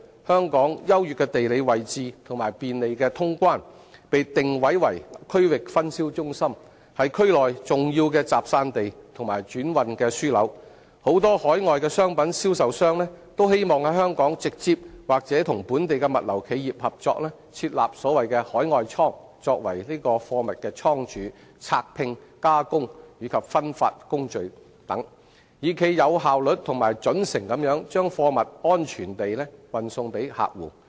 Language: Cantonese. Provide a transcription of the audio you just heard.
香港優越的地理位置和便利的通關，被定位為區域分銷中心，是區內重要的集散地和轉運樞紐，很多海外商品銷售商均希望在香港直接或與本地物流企業合作設立所謂的"海外倉"作為貨物倉儲、拆拼、加工及分發等工序，以冀有效率及準繩地把貨物安全運送給客戶。